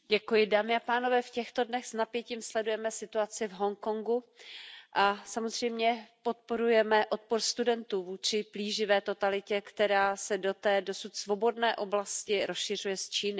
Dámy a pánové, v těchto dnech s napětím sledujeme situaci v Hongkongu a samozřejmě podporujeme odpor studentů vůči plíživé totalitě, která se do té dosud svobodné oblasti rozšiřuje z Číny.